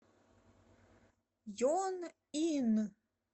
йонъин